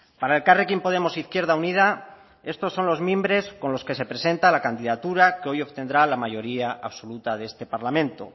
para elkarrekin podemos izquierda unida estos son los mimbres con los que se presenta la candidatura que hoy obtendrá la mayoría absoluta de este parlamento